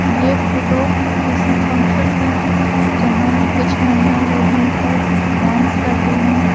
यह फोटो किसी फंक्शन का है जहाँ कुछ महिला लोग मिलकर डांस कर रही हैं।